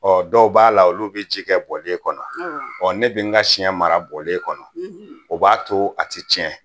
Ɔ dɔw b'a la olu bɛ ji kɛ bɔlen kɔnɔ ɔ ne bɛ n ka siɲɛ mara bɔlen kɔnɔ o b'a to a tɛ tiɲɛ